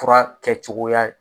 Fura kɛcogoya